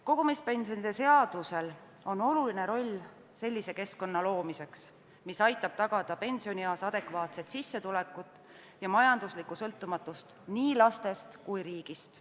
Kogumispensionide seadusel on täita oluline roll sellise keskkonna loomisel, mis aitaks pensionieas tagada adekvaatset sissetulekut ja majanduslikku sõltumatust nii lastest kui ka riigist.